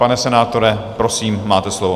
Pane senátore, prosím, máte slovo.